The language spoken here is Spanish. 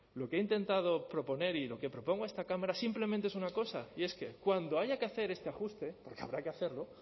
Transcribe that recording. lo que he intentado proponer y lo que propongo a esta cámara simplemente es una cosa y es que cuando haya que hacer este ajuste porque habrá que hacerlo